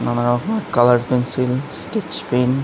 নানা রকমের colour pencil sketch pen.